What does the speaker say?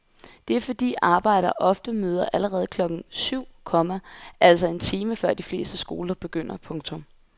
Det er fordi arbejdere ofte møder allerede klokken syv, komma altså en time før de fleste skoler begynder. punktum